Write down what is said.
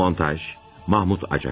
Montaj, Mahmut Acar.